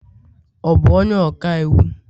ọ bu onye ọka iwu?